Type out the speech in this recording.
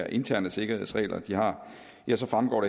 interne sikkerhedsregler de har ja så fremgår